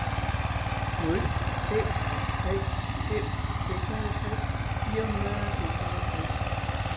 nul fem tre fem seksoghalvtreds fire hundrede og seksoghalvtreds